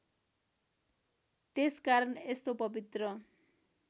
त्यसकारण यस्तो पवित्र